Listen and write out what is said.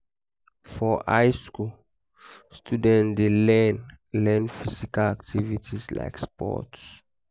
for high school students de learn learn physical activities like sports